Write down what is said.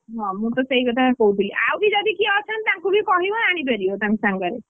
ହଁ ମୁଁ ତ ସେଇ କଥା କହୁଥିଲି ଆଉ ବି ଯଦି କିଏ ଅଛନ୍ତି ତାଙ୍କୁ ବି କହିବ ଆଣିପାରିବ ତାଙ୍କ ସାଙ୍ଗରେ।